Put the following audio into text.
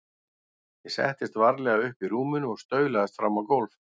Ég settist varlega upp í rúminu og staulaðist fram á gólf.